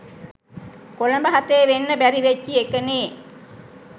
කොළඹ හතේ වෙන්න බැරි වෙච්චි එකනේ